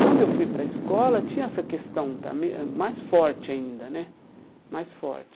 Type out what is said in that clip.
Quando eu fui para a escola, tinha essa questão também ãh mais forte ainda né mais forte.